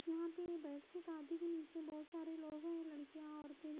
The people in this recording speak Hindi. यहां पे बैठके गद्दी पे नीचे बहोत सारे लोग हैं लड़कियां औरते--